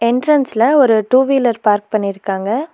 என்ட்ரன்ஸ்ல ஒரு two wheeler park பண்ணிருக்காங்க.